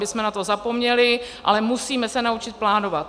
My jsme na to zapomněli, ale musíme se naučit plánovat.